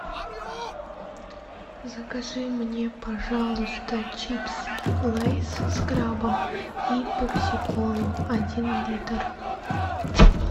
закажи мне пожалуйста чипсы лейс с крабом и пепси колу один литр